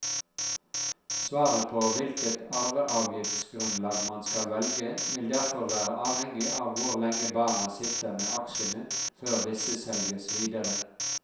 Svaret på hvilket arveavgiftsgrunnlag man skal velge, vil derfor være avhengig av hvor lenge barna sitter med aksjene før disse selges videre.